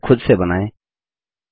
इस चित्र को खुद से बनाएँ